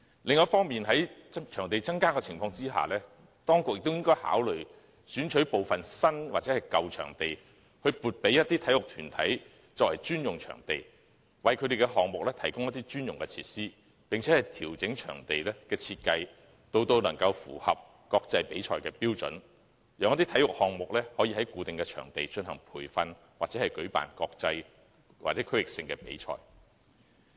另一方面，在場地有所增加的情況下，當局亦應考慮選取部分新或舊場地，撥給某些體育團體作為專用場地，為其項目提供專用設施，並調整場地的設計至符合國際比賽的標準，讓一些體育項目可以在固定的場地進行培訓，以及舉辦國際或區域性的比賽。